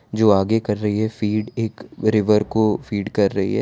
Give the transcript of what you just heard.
जो आगे कर रही है फीड एक रिवर को फीड कर रही है।